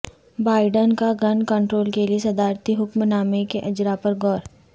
Biden کا gun control کے لیے صدارتی حکم نامے کے اجرا پر غور